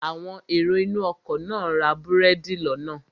Àwọn èrò inú ọkọ̀ náà ra búrẹ́dì lọ́nà